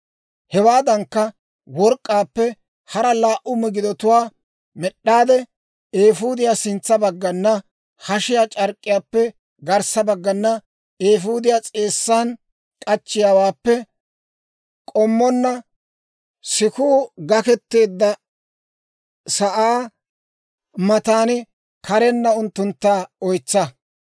Hewaadankka, work'k'aappe hara laa"u migidatuwaa med'd'aade; eefuudiyaw sintsa baggana, hashiyaa c'ark'k'iyaappe garssa baggana, eefuudiyaa s'eessan k'achchiyaawaappe k'ommonna, sikuu gaketeedda sa'aa matan karenna unttuntta oytsa.